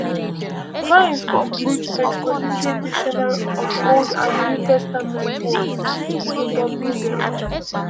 Vine’s Complete Expository Dictionary of Old and New Testament Words, nke W. dere.